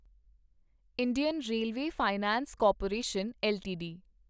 Indian railway finance corporation LTD